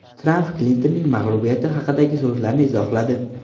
Tramp Klintonning mag‘lubiyati haqidagi so‘zlarini izohladi.